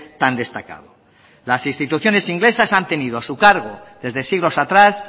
tan destacado las instituciones inglesas han tenido a su cargo desde siglos atrás